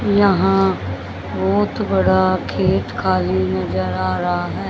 यहां बहोत बड़ा खेत खाली नजर आ रहा है।